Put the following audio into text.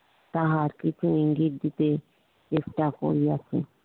তাহা কিছু ইঙ্গিত দিতে চেষ্টা করিয়াছে